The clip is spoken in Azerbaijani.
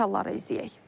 Detalları izləyək.